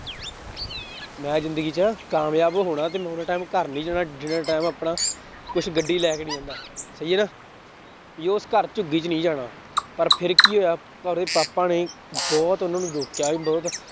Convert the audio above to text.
ਮੈਂ ਜ਼ਿੰਦਗੀ ਚ ਕਾਮਯਾਬ ਹੋਣਾ ਤੇ ਮੈਂ ਓਨਾ time ਘਰ ਨੀ ਜਾਣਾ ਜਿੰਨਾ time ਆਪਣਾ ਕੁਛ ਗੱਡੀ ਲੈ ਕੇ ਨੀ ਜਾਂਦਾ ਸਹੀ ਹੈ ਨਾ, ਵੀ ਉਸ ਘਰ ਚ ਵੀ ਨੀ ਜਾਣਾ ਪਰ ਫਿਰ ਕੀ ਹੋਇਆ ਉਹਦੇ ਪਾਪਾ ਨੇ ਬਹੁਤ ਉਹਨਾਂ ਨੂੰ ਰੋਕਿਆ ਵੀ ਬਹੁਤ